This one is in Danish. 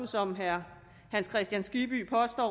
som herre hans kristian skibby påstår